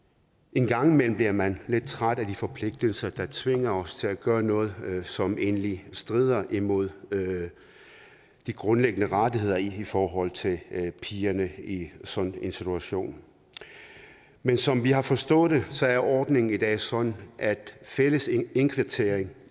en gang imellem bliver man lidt træt af de forpligtelser der tvinger os til at gøre noget som egentlig strider imod de grundlæggende rettigheder i forhold til pigerne i sådan en situation men som vi har forstået det er ordningen i dag sådan at fælles indkvartering